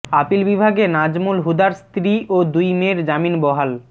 appeal বিভাগে নাজমুল হুদার স্ত্রী ও দুই মেয়ের জামিন বহাল